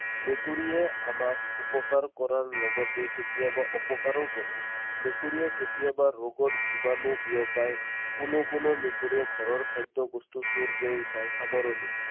মেকুৰীয়ে আমাক উপকাৰ কৰাৰ লগতে কেতিয়াবা অপকাৰো কৰে। মেকুৰীয়ে কেতিয়াবা ৰোগৰ জীৱাণু বিয়পায়। কোনো কোনো মেকুৰীয়ে ঘৰৰ খাদ্যবস্তু চুৰ কৰি খায়। সামৰণি।